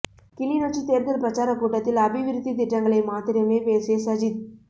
கிளிநொச்சி தேர்தல் பிரச்சார கூட்டத்தில் அபிவிருத்தி திட்டங்களை மாத்திரமே பேசிய சஜித்